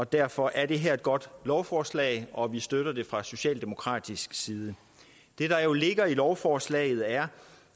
derfor er det her et godt lovforslag og vi støtter det fra socialdemokratisk side det der jo ligger i lovforslaget er